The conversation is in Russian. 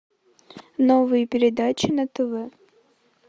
новые передачи на тв